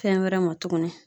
Fɛn wɛrɛ ma tuguni